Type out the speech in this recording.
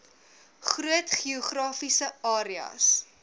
groot geografiese areas